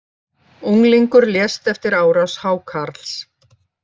Unglingur lést eftir árás hákarls